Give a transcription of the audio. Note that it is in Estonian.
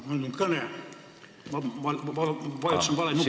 Mul on kõnesoov, vajutasin vale nuppu.